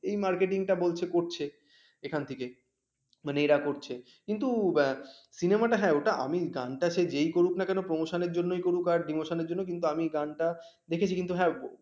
এই marketing টা বলছে করছে এখান থেকে মানে এরা করছে কিন্তু cinema হ্যাঁ, ওটা আমি গানটা সেই যেই করুক না কেন promotion জন্যই করুক বা demotion জন্যই কিন্তু আমি গানটা দেখেছি কিন্তু হ্যাঁ